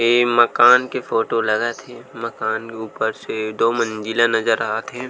ये मकान के फोटो लगत है मकान के ऊपर से दो मंजिला नजर आत हे।